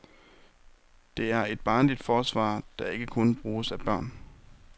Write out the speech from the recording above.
Det er et barnligt forsvar, der ikke kun bruges af børn.